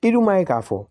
I dun ma ye k'a fɔ